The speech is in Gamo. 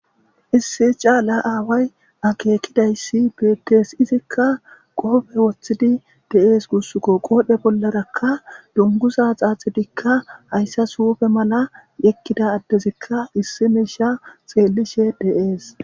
issi caala aaway akeekkidayssi betes izikka qoofe woththidi de7ees gussukko qoodhe bollarakka dunguza xaaxidikka hayssa suufe mala ekkida addezikka issi miisha xeellishe deees